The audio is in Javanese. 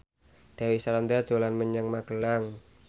Dewi Sandra dolan menyang Magelang